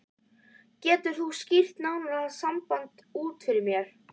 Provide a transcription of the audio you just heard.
Getur þú skýrt nánar það samband út fyrir mér?